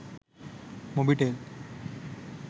mobitel